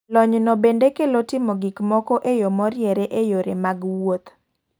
Lony no bende kelo timo gok moko e yoo moriere e yore mag wuoth.